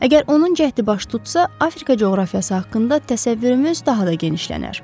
Əgər onun cəhdi baş tutsa, Afrika coğrafiyası haqqında təsəvvürümüz daha da genişlənər.